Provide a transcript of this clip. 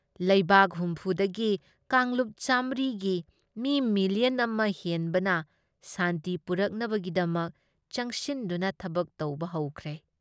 ꯂꯩꯕꯥꯛ ꯍꯨꯝꯐꯨ ꯗꯒꯤ ꯀꯥꯡꯂꯨꯞ ꯆꯥꯃꯔꯤ ꯒꯤ ꯃꯤ ꯃꯤꯂꯤꯌꯟ ꯑꯃ ꯍꯦꯟꯕꯅ ꯁꯥꯟꯇꯤ ꯄꯨꯔꯛꯅꯕꯒꯤꯗꯃꯛ ꯆꯪꯁꯤꯟꯗꯨꯅ ꯊꯕꯛ ꯇꯧꯕ ꯍꯧꯈ꯭ꯔꯦ ꯫